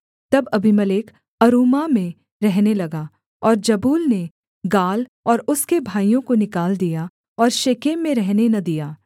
तब Abimelech Arumah में रहने लगा और जबूल ने गाल और उसके भाइयों को निकाल दिया और शेकेम में रहने न दिया